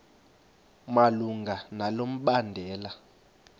malunga nalo mbandela